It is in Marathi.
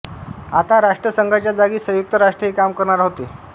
आता राष्ट्रसंघाच्या जागी संयुक्त राष्ट्र हे काम करणार होते